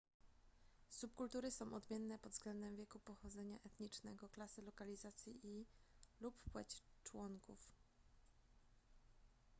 subkultury są odmienne pod względem wieku pochodzenia etnicznego klasy lokalizacji i / lub płeć członków